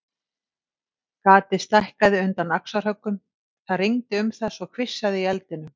Gatið stækkaði undan axarhöggum, það rigndi um það svo hvissaði í eldinum.